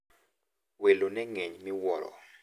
Welo ne ng`eny miwuoro.